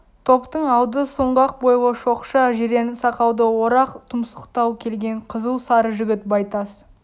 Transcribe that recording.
топтың алды сұңғақ бойлы шоқша жирен сақалды орақ тұмсықтау келген қызыл сары жігіт байтас